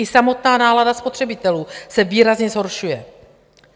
I samotná nálada spotřebitelů se výrazně zhoršuje.